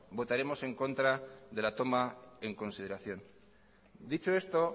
votaremos en contra de la toma en consideración dicho esto